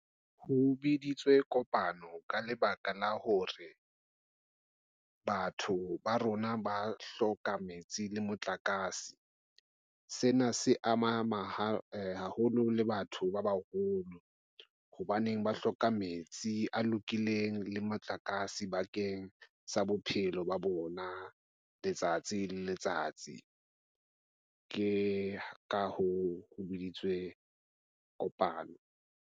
Ho beditswe kopano ka lebaka la hore batho ba rona ba hloka metsi le motlakase. Sena se ama haholo le batho ba baholo. Hobaneng ba hloka metsi a lokileng le motlakase bakeng sa bophelo ba bona letsatsi le letsatsi ke ka hoo, ho biditswe Kopano.